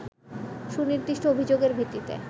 সুনির্দিষ্ট অভিযোগের ভিত্তিতে